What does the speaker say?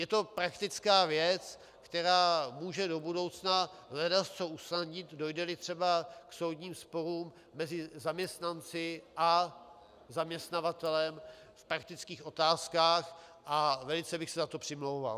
Je to praktická věc, která může do budoucna ledasco usnadnit, dojde-li třeba k soudním sporům mezi zaměstnanci a zaměstnavatelem v praktických otázkách, a velice bych se za to přimlouval.